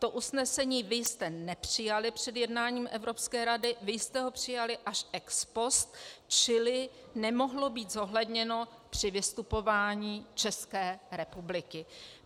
To usnesení vy jste nepřijali před jednáním Evropské rady, vy jste ho přijali až ex post, čili nemohlo být zohledněno při vystupování České republiky.